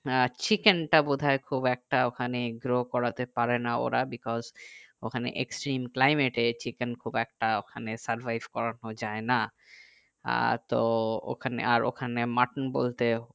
আহ chicken টা বোধহয় খুব একটা ওখানে grow করাতে পারেনা ওরা because ওখানে extreme climate এ chicken খুব একটা survive করানো যাই না আহ তো ওখানে আর ওখানে mutton বলতে